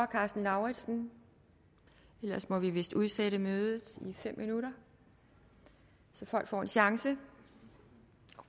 karsten lauritzen ellers må vi vist udsætte mødet i fem minutter så folk får en chance